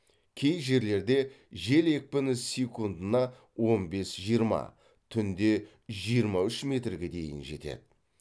кей жерлерде жел екпіні секундына он бес жиырма түнде жиырма үш метрге дейін жетеді